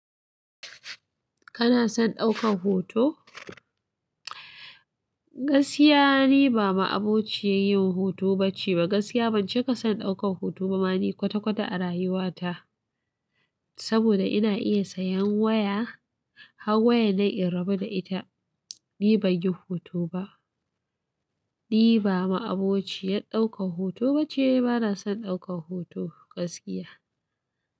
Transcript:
Kana son ɗaukan hoto? Gaskiya ni ba ma'abociyin yin hoto ba ce. Gaskiya ban cika son ɗaukan hoto ba. Mani kwata-kwata a rayuwata saboda ina iya sayan waya har waya na in rabu da ita. Ni ban yin hoto ba. Ni ba ma'abociyar ɗaukan hoto ba ce. Bana son ɗaukan hoto gaskiya.